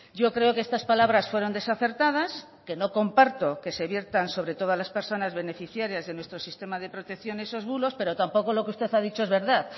yo creo que estas palabras fueron desacertadas que no comparto que se viertan sobre todas las personas beneficiarias de nuestro sistema de protección esos bulos pero tampoco lo que usted ha dicho es verdad